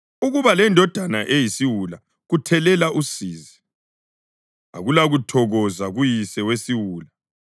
Ukuba lendodana eyisiwula kuthelela usizi; akulakuthokoza kuyise wesiwula.